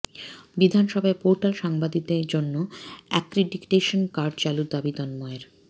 বিধানসভায় পোর্টাল সাংবাদিকদের জন্য অ্যাক্রিডিটেশন কার্ড চালুর দাবি তন্ময়ের